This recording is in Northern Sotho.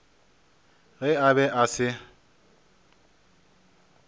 ge a be a se